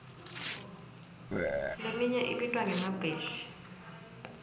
leminye ibitwa ngemabheshi